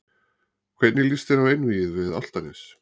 Hvernig lýst þér á einvígið við Álftanes?